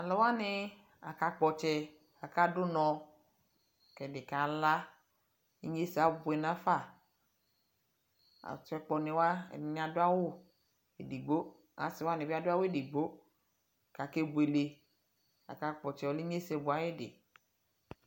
tʋ.alʋwani aka kpɔ ɔtsɛ kʋ aka dʋnɔ kʋ ɛdi kala, inyɛsɛ abʋɛ nʋ aƒa, atsɛ kpɔ ni wa ɛdini adʋ awʋ ɛdigbɔ asii wani bi adʋ awʋ ɛdigbɔ kʋ akɛ bʋɛlɛ kʋ aka kpɔ ɔtsɛ, ɔlɛ inyɛsɛ bʋɛ ayidi.